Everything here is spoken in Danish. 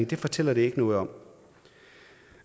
de fortæller ikke noget om